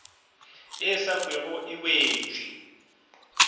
e sa kwego e wetše